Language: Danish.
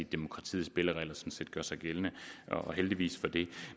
demokratiets spilleregler sådan set gør sig gældende og heldigvis for det